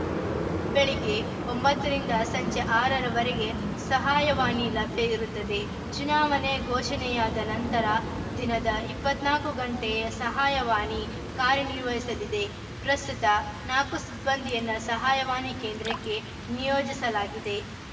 ಬೆಳಿಗ್ಗೆ ಒಂಬತ್ತರಿಂದ ಸಂಜೆ ಆರರವರೆಗೆ ಸಹಾಯವಾಣಿ ಲಭ್ಯ ಇರುತ್ತದೆ ಚುನಾವಣೆ ಘೋಷಣೆಯಾದ ನಂತರ ದಿನದ ಇಪ್ಪತ್ತ್ ನಾಲ್ಕ ಗಂಟೆ ಸಹಾಯವಾಣಿ ಕಾರ್ಯನಿರ್ವಹಿಸಲಿದೆ ಪ್ರಸ್ತುತ ನಾಲ್ಕು ಸಿಬ್ಬಂದಿಯನ್ನ ಸಹಾಯವಾಣಿ ಕೇಂದ್ರಕ್ಕೆ ನಿಯೋಜಿಸಲಾಗಿದೆ